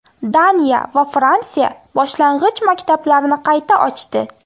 Daniya va Fransiya boshlang‘ich maktablarni qayta ochdi.